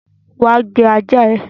Wá gbé ajá ẹ!